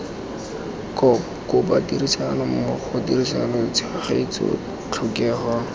kopa tirisanommogo tirisano tshegetso tlhokego